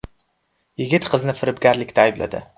Yigit qizni firibgarlikda aybladi.